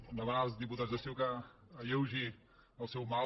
em demanen els diputats de ciu que alleugi el seu mal